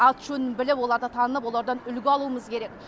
аты жөнін біліп оларды танып олардан үлгі алуымыз керек